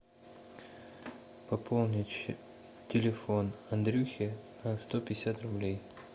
пополнить телефон андрюхи на сто пятьдесят рублей